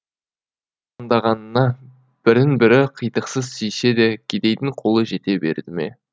таңдағанына бірін бірі қитықсыз сүйсе де кедейдің қолы жете берді ме